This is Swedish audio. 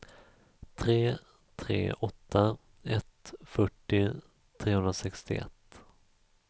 tre tre åtta ett fyrtio trehundrasextioett